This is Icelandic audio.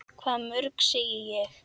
Hvað mörg, segi ég.